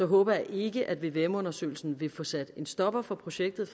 håber jeg ikke at vvm undersøgelsen vil få sat en stopper for projektet